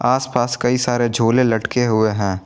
आसपास कई सारे झोले लटके हुए हैं।